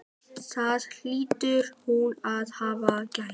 Það hlýtur hún að hafa gert.